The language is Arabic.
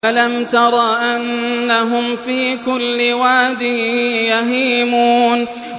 أَلَمْ تَرَ أَنَّهُمْ فِي كُلِّ وَادٍ يَهِيمُونَ